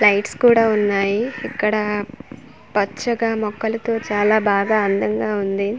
Lights కూడా ఉన్నాయి ఇక్కడా పచ్చగా మొక్కలతో చాలా బాగా అందంగా ఉంది.